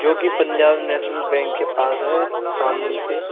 जो कि Punjab national bank के पास है शामली से।